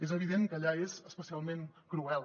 és evident que allà és especialment cruel